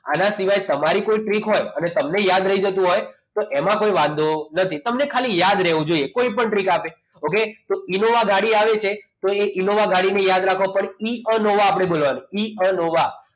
આના સિવાય તમારી કોઈ ટ્રિક હોય અને તમને યાદ રહી જતું હોય તો એમાં કોઈ વાંધો નથી તમને ખાલી યાદ રહેવું જોઈએ કોઈ પણ ટ્રીક યાદ રહી જાય તો ઇનોવા ગાડી આવે છે તો ઈશાન ગાડીને યાદ રાખી આપણે ઇઅનોવા બોલવાનું ઇઅનોવા